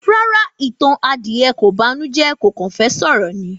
Rárá, ìtàn adìẹ kò banújẹ́ kó kan fẹ́ sọ̀rọ̀ ni